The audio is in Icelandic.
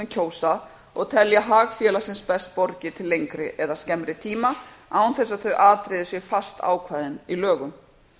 kjósa og telja hag félagsins best borgið til lengri eða skemmri tíma án þess að þau atriði séu fastákveðin í lögum